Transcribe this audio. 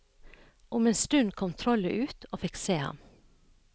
Om en stund kom trollet ut og fikk se ham.